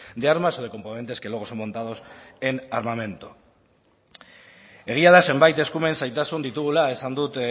de armas o de componentes que luego son montados en armamento egia da zenbait eskumen zailtasun ditugula esan dut